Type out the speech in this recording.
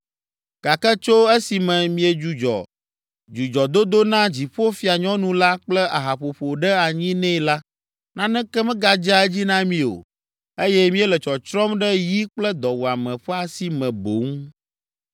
Gake tso esime míedzudzɔ dzudzɔdodo na Dziƒofianyɔnu la kple ahaƒoƒo ɖe anyi nɛ la, naneke megadzea edzi na mí o, eye míele tsɔtsrɔ̃m ɖe yi kple dɔwuame ƒe asi me boŋ.”